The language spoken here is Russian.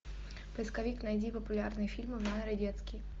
поисковик найди популярные фильмы в жанре детский